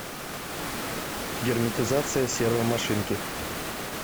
герметизация сервомашинки